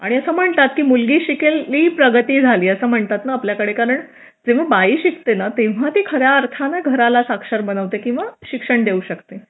आणि असं म्हणतात मुलगी शिकली प्रगती झाली असं म्हणतात ना आपल्याकडे कारण बाई शिकते ना तेव्हा ती खऱ्या अर्थाने घराला साक्षर बनवते किंवा शिक्षण देऊ शकते